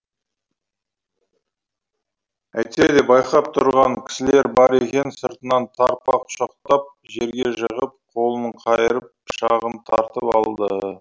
әйтсе де байқап тұрған кісілер бар екен сыртынан тарпа құшақтап жерге жығып қолын қайырып пышағын тартып алды